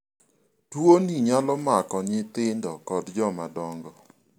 tuoni nyalo mako nyithindo kod joma dongo